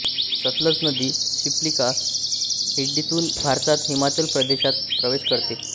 सतलज नदी शिप्कीला खिडीतून भारतात हिमाचल प्रदेशात प्रवेश करते